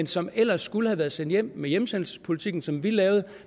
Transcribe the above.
som ellers skulle have været sendt hjem med hjemsendelsespolitikken som vi lavede